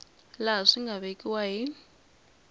laha swi nga vekiwa hi